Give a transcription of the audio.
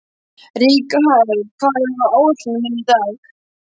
Rikharð, hvað er á áætluninni minni í dag?